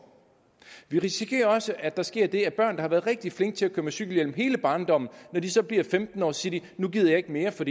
vi risikerer også at der sker det at børn der har været rigtig flinke til at køre med cykelhjelm hele barndommen når de så bliver femten år siger nu gider jeg ikke mere for